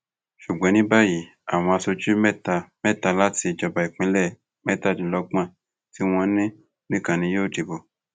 ṣùgbọn ní báyìí àwọn aṣojú mẹta mẹta láti ìjọba ìbílẹ mẹtàdínlọgbọn tí wọn ní nìkan ni yóò dìbò